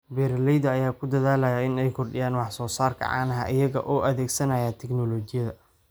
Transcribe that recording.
Beeralayda ayaa ku dadaalaya in ay kordhiyaan wax soo saarka caanaha iyaga oo adeegsanaya tignoolajiyada.